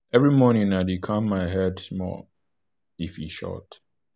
every morning i dey calm my mind small even if e short."